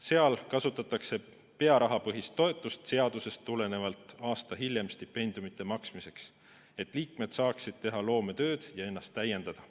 Seal kasutatakse pearahapõhist toetust seadusest tulenevalt aasta hiljem stipendiumite maksmiseks, et liikmed saaksid teha loometööd ja ennast täiendada.